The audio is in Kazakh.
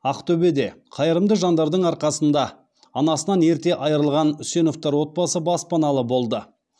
ақтөбеде қайырымды жандардың арқасында анасынан ерте айырылған үсеновтер отбасы баспаналы болды